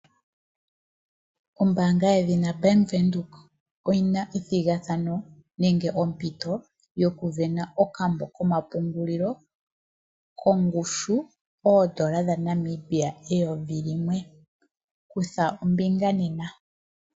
Ombaanga yedhina Bank Windhoek oyi na ethigathano nenge ompito yokusindana okambo komapungulilo kongushu yooN$ 1000. Kutha ombinga nena.